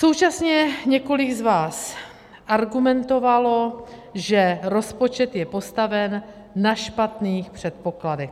Současně několik z vás argumentovalo, že rozpočet je postaven na špatných předpokladech.